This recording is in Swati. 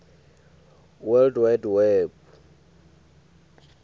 world wide web